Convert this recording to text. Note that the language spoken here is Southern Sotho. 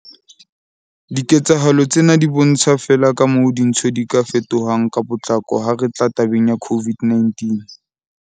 Diketsahalo tsena di bontsha feela kamoo dintho di ka fetohang ka potlako ha re tla tabeng ya COVID-19.